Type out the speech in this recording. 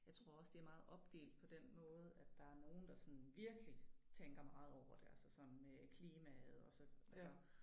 Jeg tror også det meget opdelt på den måde at der nogen der sådan virkelig tænker meget over det altså sådan øh klimaet og så altså